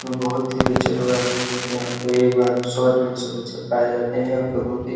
यहाँ बहोत ही बच्चे लोग आते है। देखिये यहाँ पे एक बार में सौ डेढ़ सौ बच्चे पाए जाते है। यहाँ पे बहोत ही --